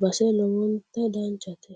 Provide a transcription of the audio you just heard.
base lowontta danchate